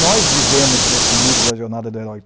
Nós vivemos esse mito da jornada do herói.